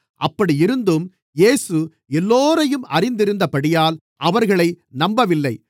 அப்படியிருந்தும் இயேசு எல்லோரையும் அறிந்திருந்தபடியால் அவர்களை நம்பவில்லை